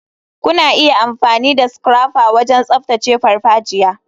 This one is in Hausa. Kuna iya amfani da scrapper wajen tsaftace farfajiya.